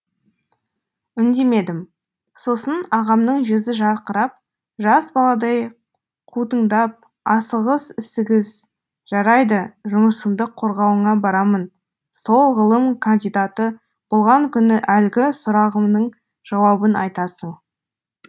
үндемедім сосын ағамның жүзі жарқырап жас баладай қутыңдап асығыс үсігіс жарайды жұмысыңды қорғауыңа барамын сол ғылым кандидаты болған күні әлгі сұрағымның жауабын айтасың